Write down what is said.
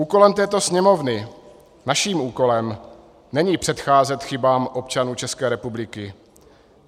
Úkolem této Sněmovny, naším úkolem, není předcházet chybám občanů České republiky.